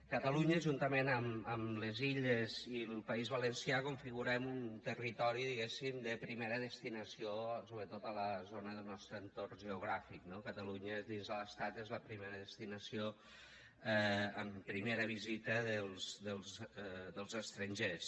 catalunya juntament amb les illes i el país valencià configurem un territori diguéssim de primera destinació sobretot a la zona del nostre entorn geogràfic no catalunya dins de l’estat és la primera destinació en primera visita dels estrangers